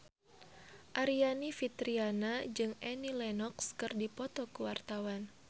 Aryani Fitriana jeung Annie Lenox keur dipoto ku wartawan